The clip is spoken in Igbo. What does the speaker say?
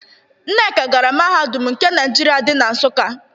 Nneka gara Mahadum nke Naịjirịa dị na Nsụka.